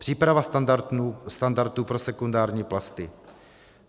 Příprava standardů pro sekundární plasty.